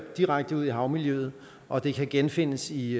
og direkte ud i havmiljøet og det kan genfindes i